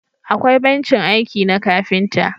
akwai bencin aiki na kafinta